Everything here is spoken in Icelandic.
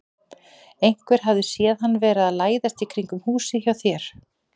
Einhver hafði séð hann vera að læðast í kringum húsið hjá þér.